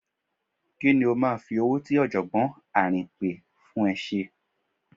Ki ni ó máa fi owó tí Ọ̀jọ̀gbọ́n Àrìnpé fún ẹ ṣe?